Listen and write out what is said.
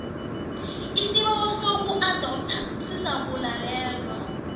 isibawo sokuadoptha sizakulalelwa